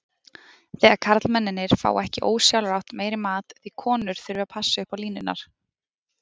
Þegar karlmennirnir fá ekki ósjálfrátt meiri mat því konur þurfi að passa upp á línurnar.